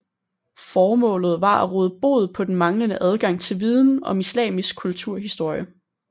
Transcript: Formålet var at råde bod på den manglende adgang til viden om islamisk kulturhistorie